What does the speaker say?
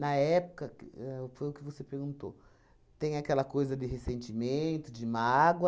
época, que éh foi o que você perguntou, tem aquela coisa de ressentimento, de mágoa,